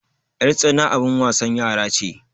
yartsana abin wasan yara ce